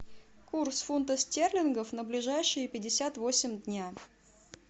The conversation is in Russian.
курс фунта стерлингов на ближайшие пятьдесят восемь дня